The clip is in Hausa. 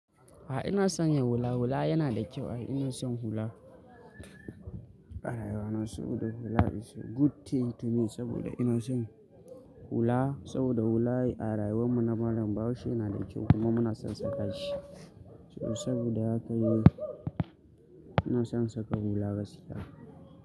A'a ina son yin hula hula yana da kyau. Ina son hula. Ɓarayin ana so da hula is a good thing to me saboda ina son hula saboda hula a rayuwar mu na malam barci yana da kyau kuma muna son saka shi. Saboda haka yi ina son saka hula gaskiya.